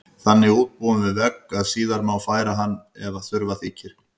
Þannig útbúin á vegg að síðar má færa hana ef þurfa þykir.